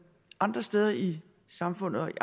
andre steder i samfundet og i